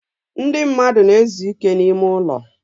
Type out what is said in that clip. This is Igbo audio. ndị mmadụ na-ezu ike n'ime ụlọ.